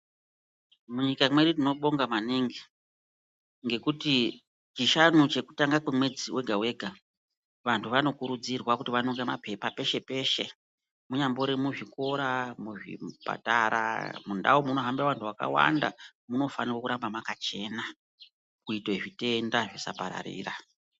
Munyika mwedu tinobonga maningi, ngekuti Chishanu chekutanga kwemwedzi wega-wega, vantu vanokurudzirwa kuti vanonge peshe-peshe, munyambori muzvikora, muzvipatara, mundau munohambe vanhu vakawanda, munofanirwe kuramba makachena kuite zvitenda zvisapararira.